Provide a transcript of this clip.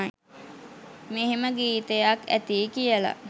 මෙහෙම ගීතයක් ඇතියි කියල